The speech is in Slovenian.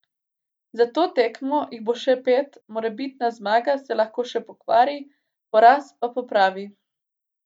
Za to tekmo jih bo še pet, morebitna zmaga se lahko še pokvari, poraz pa popravi.